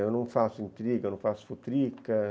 Eu não faço intriga, eu não faço futrica.